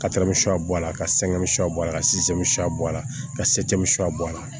Ka bɔ a la ka bɔ a la ka bɔ a la ka bɔ a la